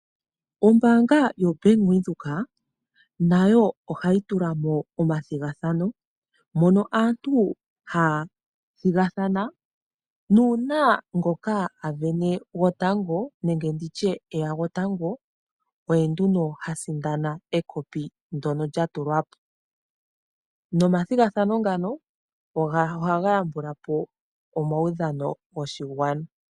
Ombaanga yoBank Windhoek nayo ohayi tulamo omathigathano nomo aantu haya thigathana, nuuna ngoka avene gotango nenge nditye eya gotango oye nduno ha sindana ekopi ndono lyatulwapo, nomathigathano ngona ohaga yambulapo omawudhano goshingwana.